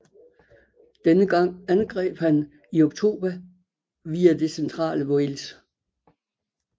Denne gang angreb han i oktober via det centrale Wales